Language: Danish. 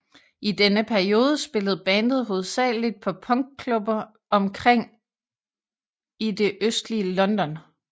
I denne periode spillede bandet hovedsagelig på punkklubber rundt omkring i det østlige London